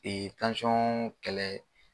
kɛlɛ